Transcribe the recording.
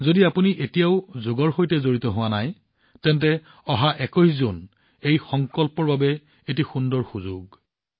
যদি আপুনি এতিয়াও যোগৰ সৈতে জড়িত নহয় তেন্তে অহা ২১ জুনত এই সংকল্পৰ বাবে এক সুন্দৰ সুযোগ